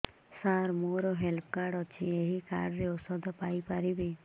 ସାର ମୋର health card ଅଛି ଏହି କାର୍ଡ ରେ ଔଷଧ ପାଇପାରିବି